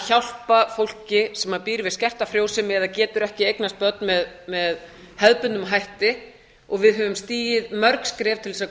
hjálpa fólki sem býr við skerta frjósemi eða getur ekki eignast börn með hefðbundnum hætti og við höfum stigið mörg skref til að